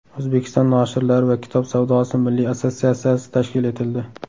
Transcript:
O‘zbekiston noshirlari va kitob savdosi milliy assotsiatsiyasi tashkil etildi.